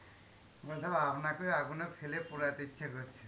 আপনাকে আগুনে ফেলে পোড়াইতে ইচ্ছা করছে.